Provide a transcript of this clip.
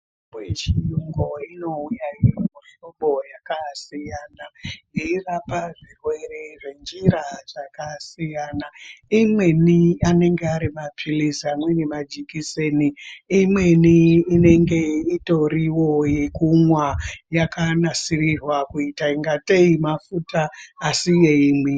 Mitombo inouya iri mumuhlobo yakasiyana, yeirapa zvirwere ngenjira dzakasiyana. Imweni anenge ari mapilizi. Amweni majikiseni. Imweni inenge itoriwo yekumwa yakanasirirwa kuita ingatei mafuta. Asi yeimwi